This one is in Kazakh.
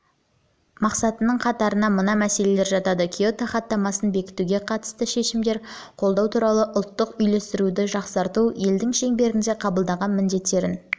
мақсатының қатарына мына мәселелер жатады киото хаттамасын бекітуге қатысты шешімдер қабылдау туралы ұлттық үйлестіруді жақсарту елдің шеңберінде қабылданған міндеттерін